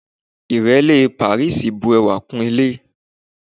Ìrẹ́lé pàríìsì bu ẹwà kún ilé.